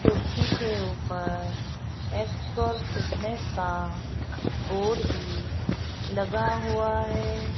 कुर्सी के ऊपर एक्सपर्ट फिटनेस का बोर्ड भी लगा हुआ है।